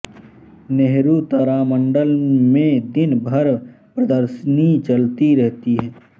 नेहरु तारामंडल में दिन भर प्रदर्शनी चलती रहती हैं